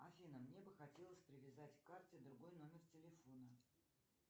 афина мне бы хотелось привязать к карте другой номер телефона